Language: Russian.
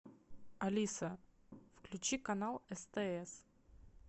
алиса включи канал стс